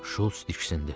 Şults diksindi.